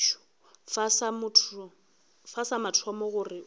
fa sa mathomo gore o